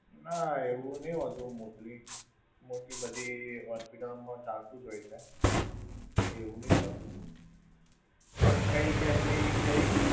ના એવું નહિ હોતું mostly! mostly બધી hospital માં ચાલતું જ હોય છે. એવું નઈ હોતું, પણ કંઈક એમની કંઈક.